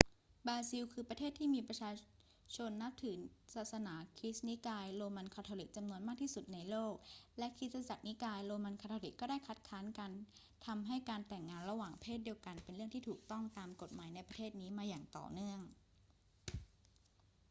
บราซิลคือประเทศที่มีประชาชนนับถือศาสนาคริสต์นิกายโรมันคาทอลิกจำนวนมากที่สุดในโลก และคริสตจักรนิกายโรมันคาทอลิกก็ได้คัดค้านการทำให้การแต่งงานระหว่างเพศเดียวกันเป็นเรื่องที่ถูกต้องตามกฎหมายในประเทศนี้มาอย่างต่อเนื่อง